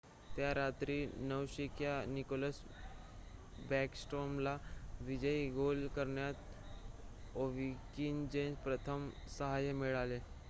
त्या रात्री नवशिक्या निकोलस बॅकस्ट्रोमला विजयी गोल करण्यात ओव्हकिनचे प्रथम सहाय्य मिळाले